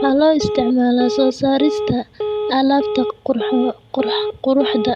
Waxaa loo isticmaalaa soo saarista alaabta quruxda.